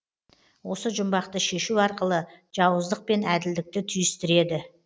осы жұмбақты шешу арқылы жауыздық пен әділдікті түйістіреді